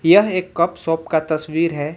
यह एक cup shop का तस्वीर है।